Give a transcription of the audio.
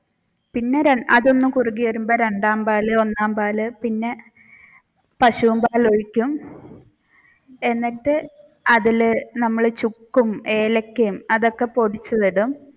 പിന്നെ അതൊന്നു കുറുകി വഴുമ്പോൾ രണ്ടാം പാൽ ഒന്നാം പാൽ പിന്നെ പശുവിൻ പാൽ ഒഴിക്കും എന്നിട്ട് അതിൽ നമ്മൾ ചുക്കും ഏലക്കയും അതൊക്കെ പൊടിച്ചത് ഇടും.